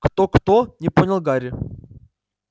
кто кто не понял гарри